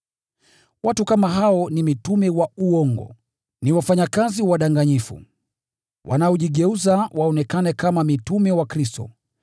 Watu kama hao ni mitume wa uongo, ni wafanyakazi wadanganyifu, wanaojigeuza waonekane kama mitume wa Kristo.